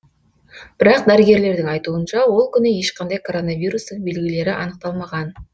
бірақ дәрігерлердің айтуынша ол күні ешқандай коронавирустың белгілері анықталмаған